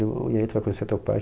e aí, tu vai conhecer teu pai?